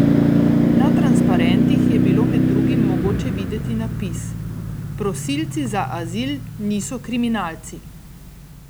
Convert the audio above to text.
Na transparentih je bilo med drugim mogoče videti napis: "Prosilci za azil niso kriminalci".